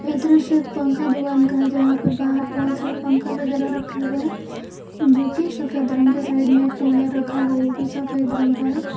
यह दृश्य एक पंखा दुकान का है जहां पे बाहर बहोत सारे पंखा वगैरा रखे हुए हैं जो की सफेद रंग के साइड में एक कूलर रखा है वो भी सफेद रंग का है।